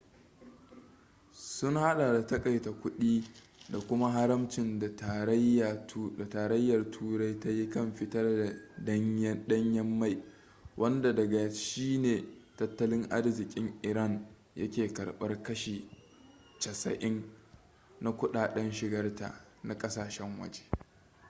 sun hada da takaita kudi da kuma haramcin da tarayyar turai ta yi kan fitar da danyen mai wanda daga shi ne tattalin arzikin iran yake karbar kashi 80% na kudaden shigarta na kasashen waje